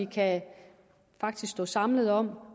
kan stå sammen om